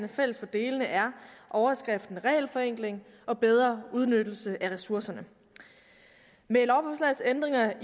fælles for delene er overskriften regelforenkling og bedre udnyttelse af ressourcerne med lovforslagets ændringer